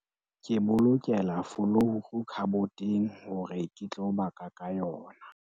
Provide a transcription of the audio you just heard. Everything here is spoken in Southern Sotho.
ke bolokela folouru khaboteng hore ke tlo baka ka yona